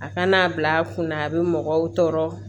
A kana bila kunna a bɛ mɔgɔw tɔɔrɔ